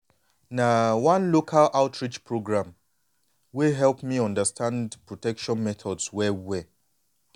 na one local outreach program wey help me understand protection methods well well